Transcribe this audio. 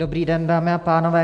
Dobrý den, dámy a pánové.